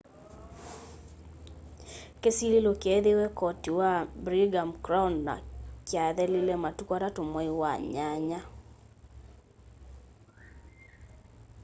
kĩsilĩlo kyeethĩĩwe koti wa birningham crown na kyathelile matũkũ 3 mwai wa nyanya